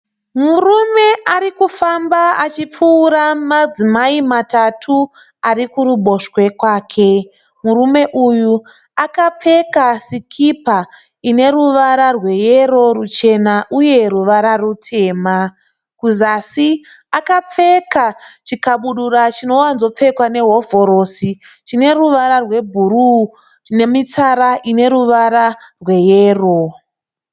Murume arikufamba achipfuura madzimai matatu ari kuruboshwe kwake. Murume uyu akapfeka sikipa ine ruvara rweyero ruchena uye ruvara rutema. Kuzasi akapfeka chikabudura chinowanzopfekwa nehovhorosi chine ruvara rwebhuruu nemitsara ine ruvara rweyero.